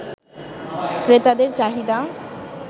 ক্রেতাদের চাহিদা